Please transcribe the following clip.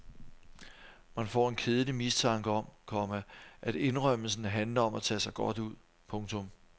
Man får en kedelig mistanke om, komma at indrømmelsen handler om at tage sig godt ud. punktum